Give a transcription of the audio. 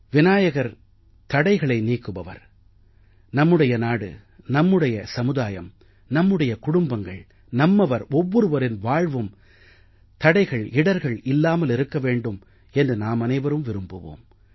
விநாயகர் தடைகளை நீக்குபவர் நம்முடைய நாடு நமது சமுதாயம் நம்முடைய குடும்பங்கள் நம்மவர் ஒவ்வொருவரின் வாழ்வும் தடைகள்இடர்கள் இல்லாமல் இருக்க வேண்டும் என்று நாமனைவரும் விரும்புவோம்